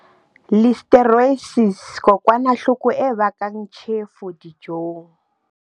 Listeriosis Kokwanahloko e bakang tjhefo dijong.